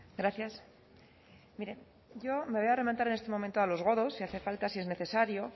gracias mire yo me voy a remontar en este momento a los godos si hace falta si es necesario